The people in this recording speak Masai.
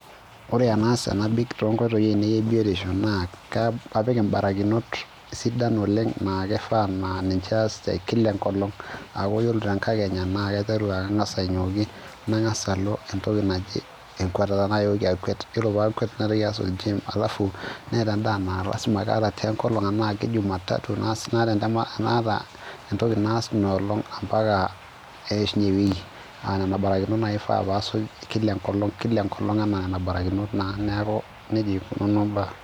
Ore enaas tenabik toonkoitoi ainei e biotisho naa kapik imbarakinot sidan oleng naa kifaa naa ninche aas te kila enkolong aaku yiolo tenkakenya naa kaiteru aa kang'as ainyioki nang'as alo entoki naji enkatata yiolo paakuet naitoki aas oljim alafu neeta endaa naa laasima kaata te nkolong ena ke jumatatu ampaka neishunye ewiki aa nena barakinot naaji ifaa paasuj kila enkolong kila enkolong enaa nena barakinot naa neeku nejia eikununo imbaa.